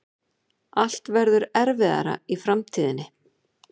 Allt verður erfiðara í framtíðinni.